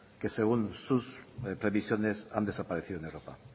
que según sus previsiones han desaparecido en europa